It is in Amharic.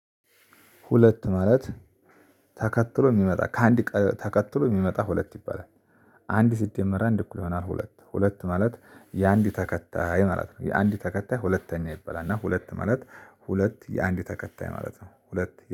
ሁለት ማለት ተከትሎ እሚመጣ ከአንድ ተከትሎ እሚመጣ ሁለት ይባላል። አንድ ሲደመር አንድ እኩል ይሆናል ሁለት ሁለት ማለት የአንድ ተከታይ ማለት ነው። የአንድ ተከታይ ሁለተኛ ይበላል እና ሁለት ማለት ሁለት የአንድ ተከታይ ማለት ነው ሁለት